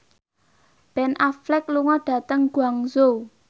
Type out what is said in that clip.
Ben Affleck lunga dhateng Guangzhou